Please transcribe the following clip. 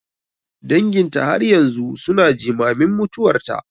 Danginta har yanzu su na jimamin mutuwarta.